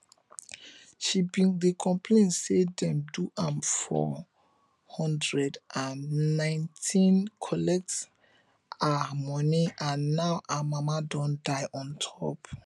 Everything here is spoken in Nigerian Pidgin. she bin dey complain say dem do am four hundred and nineteen collect her money and now her mama don die on top